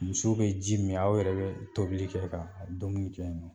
Musow bɛ ji mi min, aw yɛrɛ bɛ tobili kɛ ka dumuni kɛ yen nɔ.